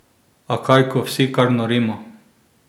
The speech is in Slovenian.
A kaj ko vsi kar norimo!